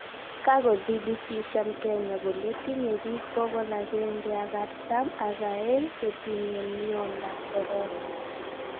Kakodhibitisyan Kenya kole tinye biik bokol agenge ak aratam ak aeng che tinye myondab korona